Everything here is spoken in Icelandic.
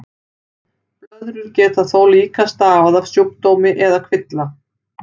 Blöðrur geta þó líka stafað af sjúkdómi eða kvilla.